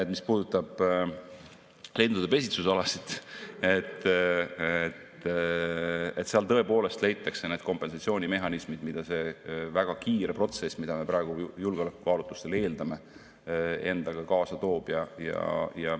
–, mis puudutavad lindude pesitsusalasid, siis et seal tõepoolest leitaks kompensatsioonimehhanismid, mida see väga kiire protsess, mida me praegu julgeolekukaalutlustel eeldame, endaga kaasa toob.